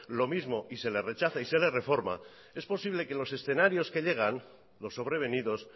lo mismo y se le rechaza y se le reforma es posible que los escenarios que llegan los sobrevenidos